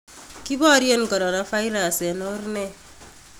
Kiboryen coronavirus en or nee